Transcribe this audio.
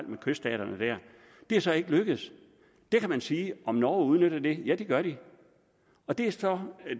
med kyststaterne der det er så ikke lykkedes kan man sige om norge udnytter det ja det gør de og det er så